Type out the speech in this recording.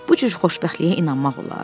Bu cür xoşbəxtliyə inanmaq olar?